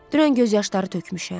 Dünən göz yaşları tökmüşəm.